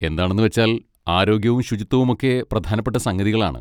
എന്താണെന്ന് വെച്ചാൽ ആരോഗ്യവും ശുചിത്വവുമൊക്കെ പ്രധാനപ്പെട്ട സംഗതികളാണ്.